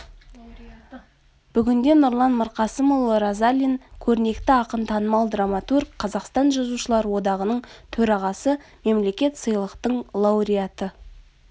бүгінде нұрлан мырқасымұлы разалин көрнекті ақын танымал драматург қазақстан жазушылар одағының төрағасы мемлекеттік сыйлықтың лауреаты